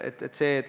Ei saa teha!